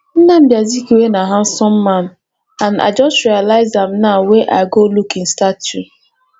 nnamdi azikiwe na handsome man and i just realize am now wey i dey look im statue